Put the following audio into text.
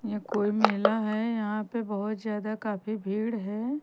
ये कोई मेला है यहां पे बहोत ज्यादा काफी भीड़ है।